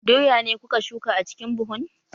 Doya ne kuka shuka a cikin buhun?